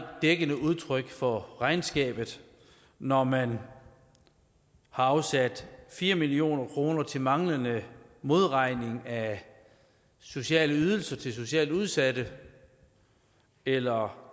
dækkende udtryk for regnskabet når man har afsat fire million kroner til manglende modregning af sociale ydelser til socialt udsatte eller